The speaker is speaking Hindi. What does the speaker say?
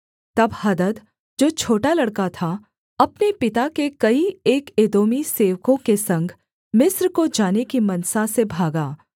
तब हदद जो छोटा लड़का था अपने पिता के कई एक एदोमी सेवकों के संग मिस्र को जाने की मनसा से भागा